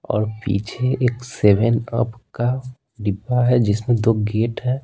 और पीछे एक सेवेन अप का डिब्बा है जिसमें दो गेट हैं।